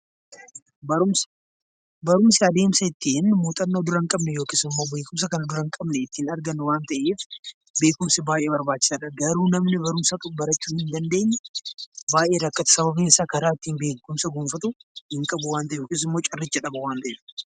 Barumsi adeemsa ittiin muuxannoo dura hin qabne yookiis immoo beekumsa dura hin qabne ittiin argannu waan ta'eef beekumsi baay'ee barbaachisaadha. Garuu namni barumsa barachuu hin dandeenye baay'ee rakkata sababiin isaa karaa ittiin beekumsa gonfatu hin qabu waan ta'eef.